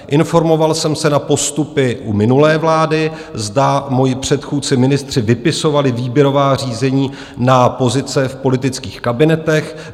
Informoval jsem se na postupy u minulé vlády, zda moji předchůdci ministři vypisovali výběrová řízení na pozice v politických kabinetech.